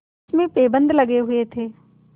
जिसमें पैबंद लगे हुए थे